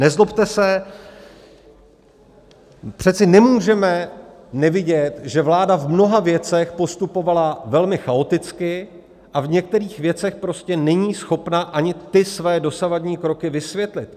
Nezlobte se, přece nemůžeme nevidět, že vláda v mnoha věcech postupovala velmi chaoticky a v některých věcech prostě není schopna ani ty své dosavadní kroky vysvětlit.